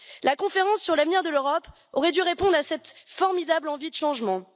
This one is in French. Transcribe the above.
La conférence sur l'avenir de l'Europe aurait dû répondre à cette formidable envie de changement.